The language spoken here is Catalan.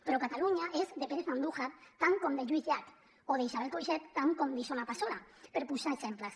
però catalunya és de pérez andújar tant com de lluís llach o d’isabel coixet tant com d’isona passola per posar exemples